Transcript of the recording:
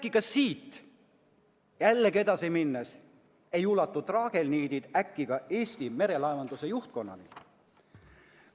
Ning kas äkki siit ei ulatu traagelniidid ka Eesti Merelaevanduse juhtkonnani?